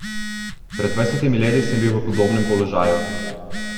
Pred dvajsetimi leti sem bil v podobnem položaju.